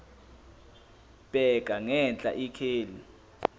bheka ngenhla ikheli